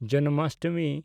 Janmashtami